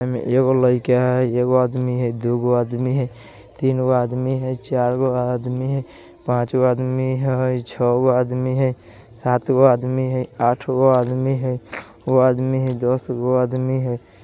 एमे एगो लईका हई एगो आदमी हई दूगो आदमी हई तिनगो आदमी हई चारगो आदमी हई पाँचगो आदमी हई छौगो आदमी हई सातगो आदमी हई आठगो आदमी हई नौगो आदमी हई दसगो आदमी हई |